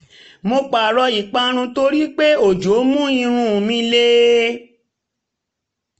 mo pààrọ̀ ìpara irun torí pé ojò mú um irun um um irun um mi le